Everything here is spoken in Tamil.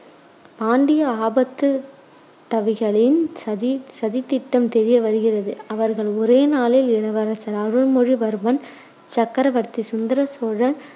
பாண்டிய ஆபத்துதவிகளின் சதி~ சதித்திட்டம் தெரிய வருகிறது. அவர்கள் ஒரே நாளில் இளவரசர் அருள்மொழிவர்மன், சக்கரவர்த்தி சுந்தர சோழர்